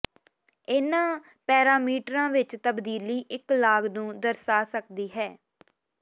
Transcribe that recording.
ਇਹਨਾਂ ਪੈਰਾਮੀਟਰਾਂ ਵਿੱਚ ਤਬਦੀਲੀ ਇੱਕ ਲਾਗ ਨੂੰ ਦਰਸਾ ਸਕਦੀ ਹੈ